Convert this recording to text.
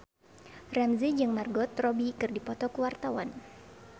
Ramzy jeung Margot Robbie keur dipoto ku wartawan